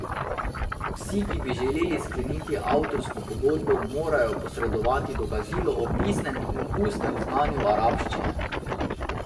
Vsi, ki bi želeli skleniti avtorsko pogodbo, morajo posredovati dokazilo o pisnem in ustnem znanju arabščine.